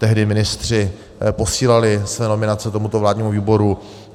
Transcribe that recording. Tehdy ministři posílali své nominace tomuto vládnímu výboru.